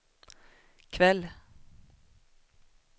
kväll